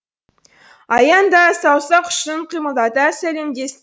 аян да саусақ ұшын қимылдата сәлемдесті